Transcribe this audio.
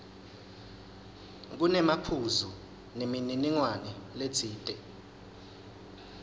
kunemaphuzu nemininingwane letsite